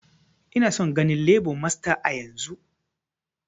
Ina son ganin lebo masta yanzun!